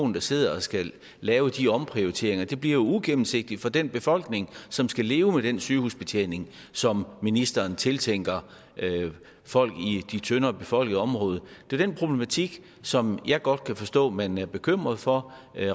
der sidder og skal lave de omprioriteringer det bliver ugennemsigtigt for den befolkning som skal leve med den sygehusbetjening som ministeren tiltænker folk i de tyndere befolkede områder det er den problematik som jeg godt forstå at man er bekymret for